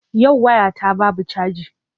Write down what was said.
Yau waya ta babu caji.